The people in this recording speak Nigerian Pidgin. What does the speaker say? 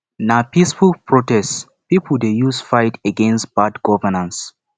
na peaceful protest pipo dey use fight against bad governance